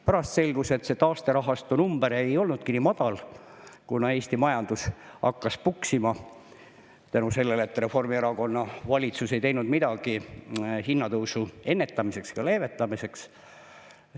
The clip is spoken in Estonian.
Pärast selgus, et see taasterahastu number ei olnudki nii madal, kuna Eesti majandus hakkas puksima, tänu sellele, et Reformierakonna valitsus ei teinud midagi hinnatõusu ennetamiseks ja leevendamiseks.